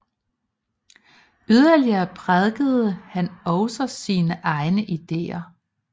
Yderligere prædikede han også sine egne ideer